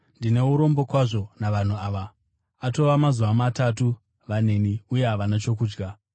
“Ndine urombo kwazvo navanhu ava; atova mazuva matatu vaneni uye havana chokudya.